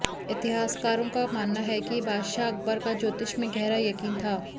इतिहासकारों का मानना है कि बादशाह अकबर का ज्योतिष में गहरा यकीन था